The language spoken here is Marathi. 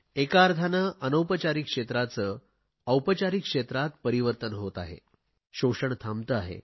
एका अर्थाने अनौपचारिक क्षेत्राचे औपचारिक परिवर्तन होत आहे शोषण थांबते आहे